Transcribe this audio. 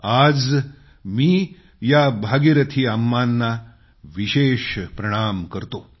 आजमी या भागीरथी अम्मांना विशेष प्रणाम करतो